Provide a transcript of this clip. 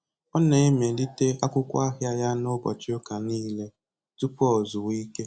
Ọ na-emelite akwụkwọ ahịa ya n'ụbọchị ụka nile tụpụ o zuwa ike